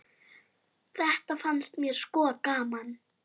Þetta fannst mér sko gaman.